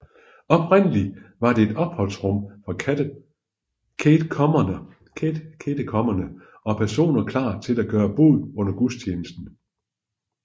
Oprindelig var det et opholdsrum for katekumener og personer klar til at gøre bod under gudstjenesten